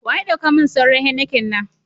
Wa ya dau ka min sauran " Heineken "na?